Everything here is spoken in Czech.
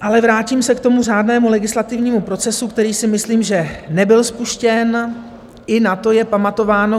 Ale vrátím se k tomu řádnému legislativnímu procesu, který si myslím, že nebyl spuštěn, i na to je pamatováno.